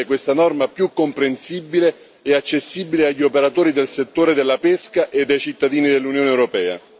questa norma e renderla più comprensibile e accessibile agli operatori del settore della pesca ed ai cittadini dell'Unione europea.